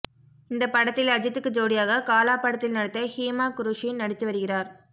இந்த படத்தில் அஜித்துக்கு ஜோடியாக காலா படத்தில் நடித்த ஹீமா குருஷி நடித்து வருகிறார்